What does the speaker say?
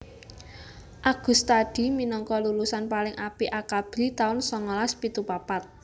Agustadi minangka lulusan paling apik Akabri taun songolas pitu papat